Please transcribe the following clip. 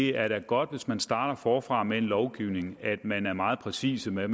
er godt hvis man starter forfra med en lovgivning at man er meget præcis med